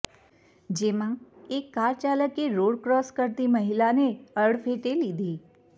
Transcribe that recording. જેમાં એક કાર ચાલકે રોડ ક્રોસ કરતી મહિલાને અડફેટે લીધી